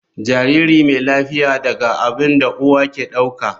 Jariri mai lafiya daga abin da uwa ke dauka.